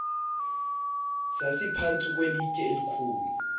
sasiphantsi kwelitye elikhulu